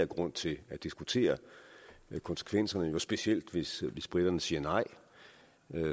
grund til at diskutere konsekvenserne specielt hvis briterne siger nej